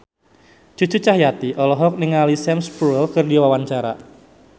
Cucu Cahyati olohok ningali Sam Spruell keur diwawancara